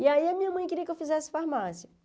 E aí a minha mãe queria que eu fizesse farmácia.